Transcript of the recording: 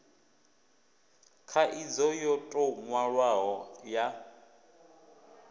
khaidzo yo tou nwalwaho ya